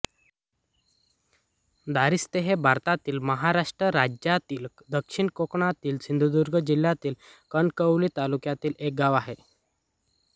दारिस्ते हे भारतातील महाराष्ट्र राज्यातील दक्षिण कोकणातील सिंधुदुर्ग जिल्ह्यातील कणकवली तालुक्यातील एक गाव आहे